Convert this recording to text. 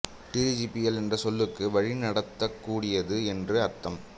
dirigible என்ற சொல்லுக்கு வழி நடத்தக் கூடியது என்று அர்த்தம்